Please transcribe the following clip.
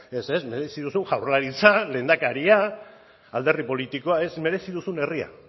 ez ez merezi duzun jaurlaritza lehendakaria alderdi politikoa ez merezi duzun herria